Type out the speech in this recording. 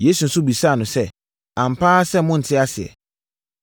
Yesu nso bisaa no sɛ, “Ampa ara sɛ monte aseɛ?